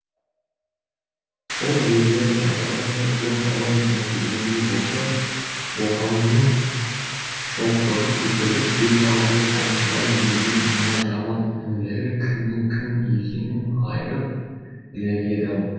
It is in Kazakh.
сол ерлер айдаудан құтылып аман есен келгендей болса боқаңның шоқтығы көтеріліп бет алды томсырайып жүрген мына жаман інілері кімнің кім екенін айырып білер еді ау